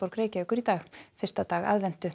Reykjavíkur í dag fyrsta dag aðventu